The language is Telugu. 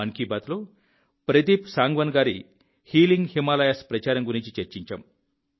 మన్ కీ బాత్లో ప్రదీప్ సాంగ్వాన్ గారి హీలింగ్ హిమాలయాస్ ప్రచారం గురించి చర్చించాం